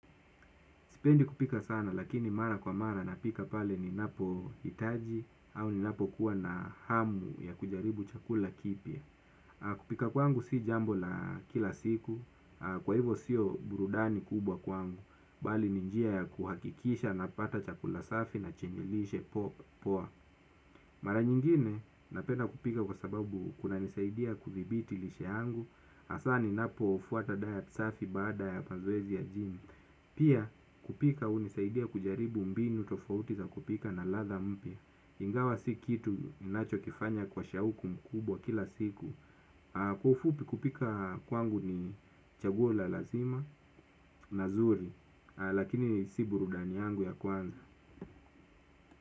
Sipendi kupika sana lakini mara kwa mara napika pale ninapo hitaji au ninapo kuwa na hamu ya kujaribu chakula kipya. Kupika kwangu si jambo la kila siku, kwa hivo siyo burudani kubwa kwangu, bali ni njia ya kuhakikisha na pata chakula safi na chenye lishe poa. Mara nyingine napenda kupika kwa sababu kuna nisaidia kuthtibiti lishe angu, asani napo ufuata dayat safi bada ya pazoezi ya jimu. Pia kupika unisaidia kujaribu mbinu tofautiza kupika na latha mpia ingawa si kitu inacho kifanya kwa shauku mkubwa kila siku. Kwa ufupi kupika kwangu ni chaguo la lazima na zuri. Lakini si burudani yangu ya kwanza.